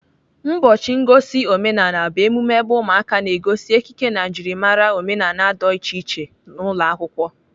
Ụbọchị ngosi omenala bụ emume ebe ụmụaka na-egosi ekike na njimara omenala do iche iche n'ụlọakwụkwọ.